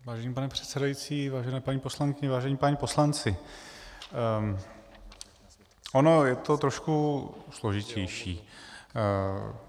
Vážený pane předsedající, vážené paní poslankyně, vážení páni poslanci, ono je to trošku složitější.